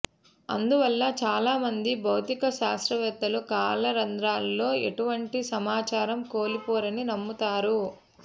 అందువల్ల చాలా మంది భౌతిక శాస్త్రవేత్తలు కాల రంధ్రాలలో ఎటువంటి సమాచారం కోల్పోరని నమ్ముతారు